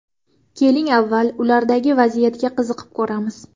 Keling, avval, ulardagi vaziyatga qiziqib ko‘ramiz.